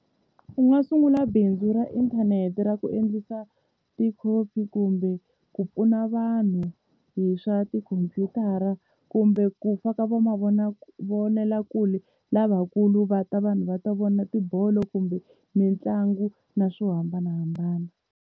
U nga sungula bindzu ra inthanete ra ku endlisa tikhopi kumbe ku pfuna vanhu hi swa tikhompyutara, kumbe ku faka va mavonela kumbe lavakulu va ta vanhu va ta vona tibolo kumbe mitlangu na swo hambanahambana.